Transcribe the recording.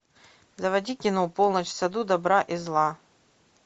заводи кино полночь в саду добра и зла